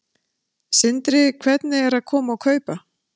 Sindri: Hvernig eru að koma og kaupa?